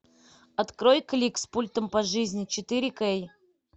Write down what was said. открой клик с пультом по жизни четыре кей